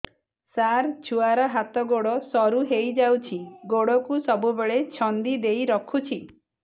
ସାର ଛୁଆର ହାତ ଗୋଡ ସରୁ ହେଇ ଯାଉଛି ଗୋଡ କୁ ସବୁବେଳେ ଛନ୍ଦିଦେଇ ରଖୁଛି